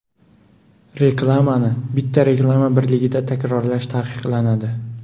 Reklamani bitta reklama birligida takrorlash taqiqlanadi.